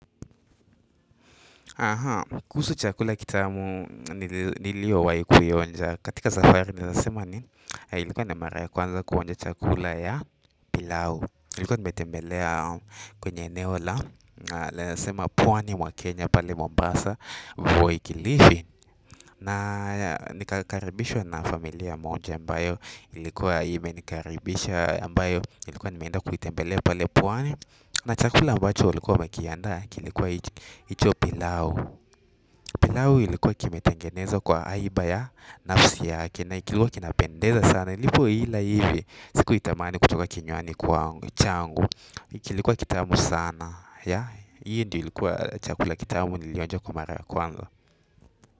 Kuhusu niliyowahi kuioja katika safari naeza sema ni ilikuwa ni mara ya kwanza kuonja chakula ya pilau. Ilikuwa nimetembelea kwenye eneo la, naeza sema pwani mwa Kenya pale Mombasa voi kilifi. Na nikakaribishwa na familia moja ambayo ilikuwa imenikaribisha ambayo ilikuwa nimeenda kuitembelea pale pwani. Na chakula ambacho walikuwa wamekiandaa kilikuwa hicho pilau pilau ilikuwa kimetengenezwa kwa haiba ya nafsi yake na kilikuwa kinapendeza sana nilipoila hivi sikuitamani kutoka kinywani kwa changu kilikuwa kitamu sana hii ndio ilikuwa chakula kitamu nilionja kwa mara ya kwanza.